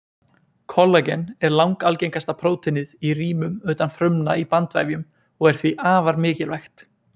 Kollagen er langalgengasta prótínið í rýmum utan frumna í bandvefjum og er því afar mikilvægt.